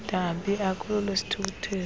dabi akulo lwesithukuthezi